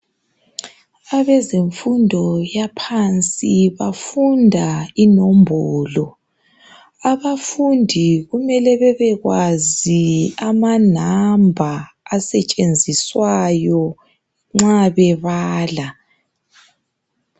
Abazemfundo yaphansi bafunda inombolo .Abafundi kumele babekwazi amanamba asetshenziswayo nxa bebala.